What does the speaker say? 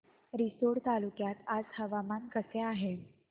रिसोड तालुक्यात आज हवामान कसे आहे